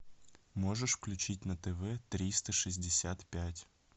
можешь включить на тв триста шестьдесят пять